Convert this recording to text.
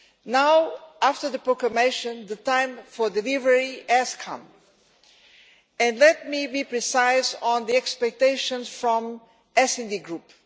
Now, after the proclamation, the time for delivery has come, and let me be precise on the expectations from the SD Group.